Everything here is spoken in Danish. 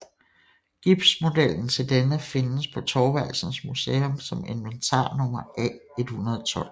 Gipsmodellen til denne findes på Thorvaldsens Museum som inventarnummer A112